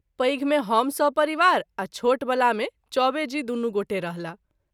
पैघ मे हम सपरिवार आ छोट वला मे चौबे जी दुनू गोटे रहलाह।